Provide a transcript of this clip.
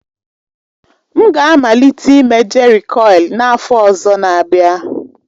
M ga-amalite ịme jerịkọil n'afọ ọzọ n'abia.